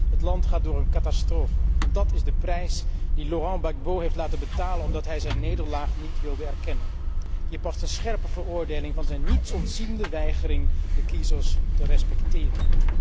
Het land gaat door een catastrofe en dat is de prijs die Laurent Gbagbo heeft laten betalen omdat hij zijn nederlaag niet wilde erkennen. Hier past een scherpe veroordeling van zijn niets ontziende weigering de kiezers te respecteren.